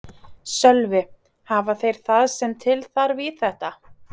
Sölvi: Hafa þeir það sem til þarf í þetta?